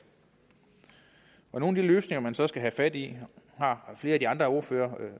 nogle af de løsninger man så skal have fat i har flere af de andre ordførere